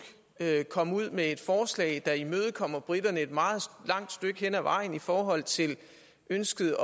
komme ud med et forslag der imødekommer briterne et meget langt stykke hen ad vejen i forhold til ønsket